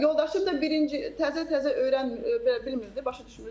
Yoldaşım da birinci təzə-təzə öyrən belə bilmirdi, başa düşmürdü.